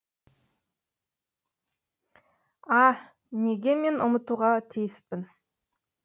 а неге мен ұмытуға тиіспін